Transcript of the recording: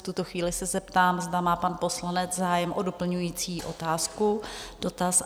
V tuto chvíli se zeptám, zda má pan poslanec zájem o doplňující otázku, dotaz?